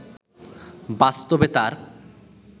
বাস্তবে তার